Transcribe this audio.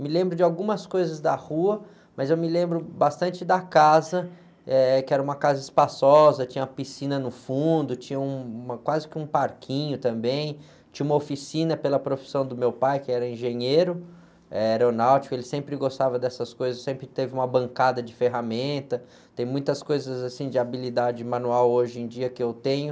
Me lembro de algumas coisas da rua, mas eu me lembro bastante da casa, eh, que era uma casa espaçosa, tinha uma piscina no fundo, tinha um, uma, quase que um parquinho também, tinha uma oficina pela profissão do meu pai, que era engenheiro, eh, aeronáutico, ele sempre gostava dessas coisas, sempre teve uma bancada de ferramenta, tem muitas coisas assim de habilidade manual hoje em dia que eu tenho,